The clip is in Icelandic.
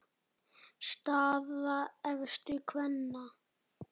Staða efstu kvenna